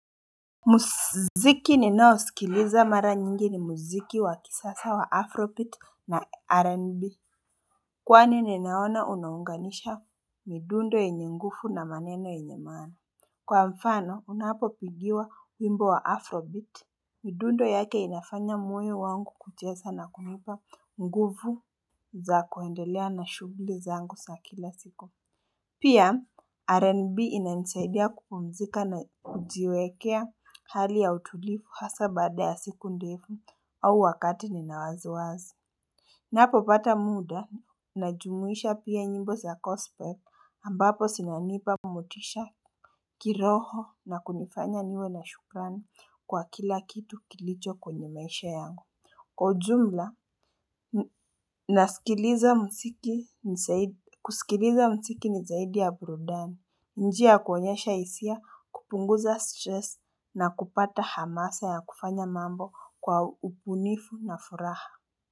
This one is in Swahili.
Muziki ninaosikiliza mara nyingi ni muziki wa kisasa wa afrobeat na rnb Kwani ninaona unaunganisha midundo yenyenguvu na maneno yenyemaana Kwa mfano unapo pigiwa wimbo wa afrobeat midundo yake inafanya muyo wangu kucheza na kunipa nguvu za kuendelea na shughuli za angu zakila siku Pia, RNB ina nisaidia kupumzika na ujiwekea hali ya utulivu hasa baada ya siku ndefu au wakati ninawasi wasi. Ninapopata muda, najumuisha pia nyimbo za gospel ambapo zinanipa motisha kiroho na kunifanya niwe na shukrani kwa kila kitu kilicho kwenye maisha yangu. Kwa ujumla kusikiliza muziki ni zaidi ya burudani njia kuonyesha hisia kupunguza stress na kupata hamasa ya kufanya mambo kwa ubunifu na furaha.